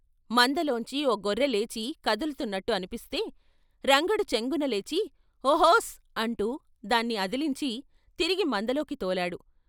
మందలోంచి ఓ గొర్రె లేచి కదులుతున్నట్టు అనిపిస్తే రంగడు చెంగున లేచి ' ఓహోస్ ' అంటూ దాన్ని అదిలించి తిరిగి మందలోకి తోలాడు.